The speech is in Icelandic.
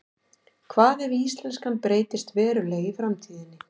hvað ef íslenskan breytist verulega í framtíðinni